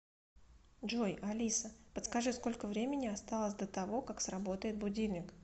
джой алиса подскажи сколько времени осталось до того как сработает будильник